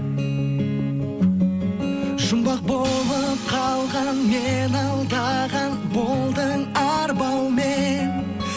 жұмбақ болып қалған мені алдаған болдың арбаумен